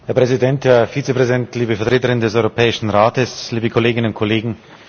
Herr Präsident, Herr Vizepräsident, liebe Vertreterin des Europäischen Rates, liebe Kolleginnen und Kollegen!